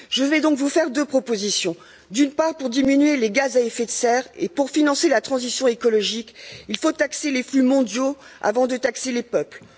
Je vais donc vous faire des propositions tout d'abord, pour diminuer les gaz à effet de serre et pour financer la transition écologique, il faut taxer les flux mondiaux avant de taxer les peuples.